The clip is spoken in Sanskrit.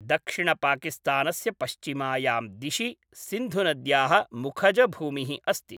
दक्षिणपाकिस्तानस्य पश्चिमायां दिशि सिन्धुनद्याः मुखजभूमिः अस्ति।